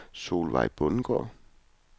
Solveig Bundgaard